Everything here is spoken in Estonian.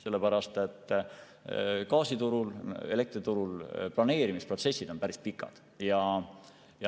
Sellepärast et gaasiturul ja elektriturul planeerimisprotsessid on päris pikad.